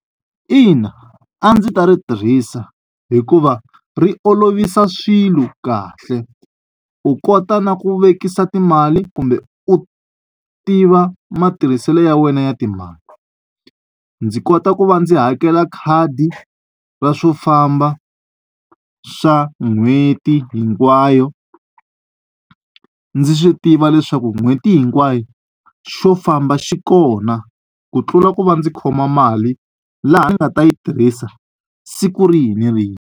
Ina a ndzi ta ri tirhisa hikuva ri olovisa swilo kahle u kota na ku vekisa timali kumbe u tiva matirhiselo ya wena ya timali ndzi kota ku va ndzi hakela khadi ra swo famba swa n'hweti hinkwayo ndzi swi tiva leswaku n'hweti hinkwayo xo famba xi kona ku tlula ku va ndzi khoma mali laha ndzi nga ta yi tirhisa siku rihi ni rihi.